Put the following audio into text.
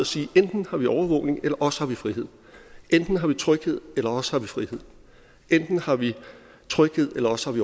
sige enten har vi overvågning eller også har vi frihed enten har vi tryghed eller også har vi frihed enten har vi tryghed eller også har vi